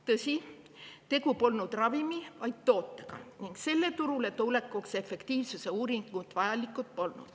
Tõsi, tegu polnud ravimi, vaid tootega ning selle turule tulekuks polnud efektiivsuse uuringud vajalikud.